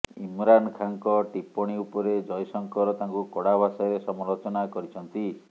ଇମ୍ରାନ ଖାନ୍ଙ୍କ ଟିପ୍ପଣୀ ଉପରେ ଜୟଶଙ୍କର ତାଙ୍କୁ କଡା ଭାଷାରେ ସମାଲୋଚନା କରିଛନ୍ତି